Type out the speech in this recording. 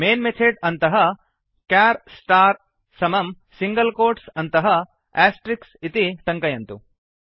main method अन्तः char star char star समं single quotes अन्तः आस्ट्रिक् इति टङ्कयन्तु